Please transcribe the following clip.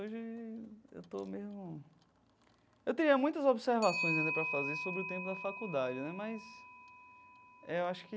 Hoje eu estou meio... Eu teria muitas observações ainda para fazer sobre o tempo da faculdade né, mas é eu acho que...